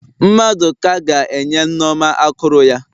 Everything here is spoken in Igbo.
Mmaduka ga-enye Nneoma akụrụ ya.